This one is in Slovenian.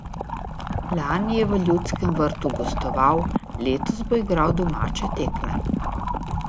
Lani je v Ljudskem vrtu gostoval, letos bo igral domače tekme.